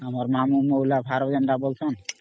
ଆମର ମାମୁ ମଉଳା ଭାର ଜେଟା ବୋଲୁଚନ